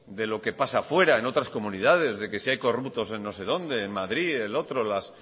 de lo que pasa a fuera en otras comunidades de que si hay corruptos en no sé donde en madrid el otro las